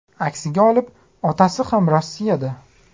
Aksiga olib, otasi ham Rossiyada.